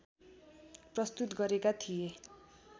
प्रस्तुत गरेका थिए